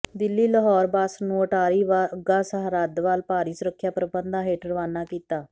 Delhi Lahore bus ਨੂੰ ਅਟਾਰੀ ਵਾਹਗਾ ਸਰਹੱਦ ਵਲ ਭਾਰੀ ਸੁਰੱਖਿਆ ਪ੍ਰਬੰਧਾਂ ਹੇਠ ਰਵਾਨਾ ਕੀਤਾ